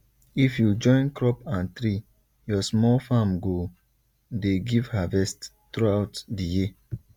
if you join crop and tree your small farm go dey give harvest throughout di year